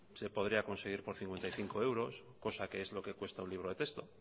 se podría conseguir por cincuenta y cinco euros cosa que es lo que cuesta un libro de texto